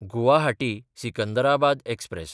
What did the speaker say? गुवाहाटी–सिकंदराबाद express